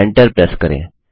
enter press करें